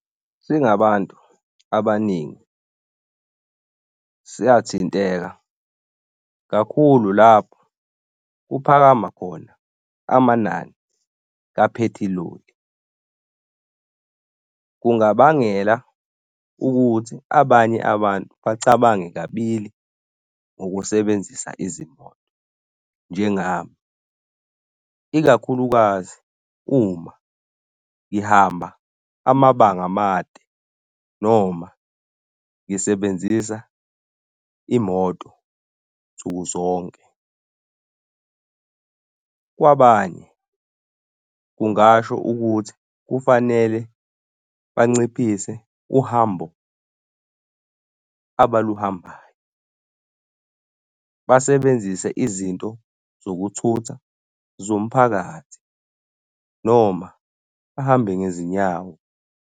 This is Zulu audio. Singabantu abaningi siyathinteka kakhulu lapho kuphakama khona amanani kaphethiloli. Kungabangela ukuthi abanye abantu bacabange kabili ngokusebenzisa izimoto. Njengami ikakhulukazi uma ngihamba amabanga amade noma ngisebenzisa imoto nsuku zonke. Kwabanye, kungasho ukuthi kufanele banciphise uhambo abaluhambayo basebenzise izinto zokuthutha zomphakathi noma bahambe ngezinyawo.